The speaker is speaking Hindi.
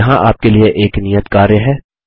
यहाँ आपके लिए एक नियत कार्य है